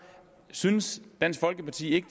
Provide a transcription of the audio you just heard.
synes dansk folkeparti ikke